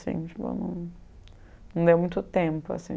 assim, chegou não não deu muito tempo assim.